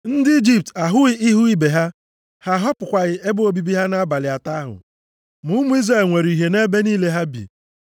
Ndị Ijipt ahụghị ihu ibe ha. Ha ahapụghịkwa ebe obibi ha abalị atọ ahụ. Ma ụmụ Izrel nwere ìhè nʼebe niile ha bi.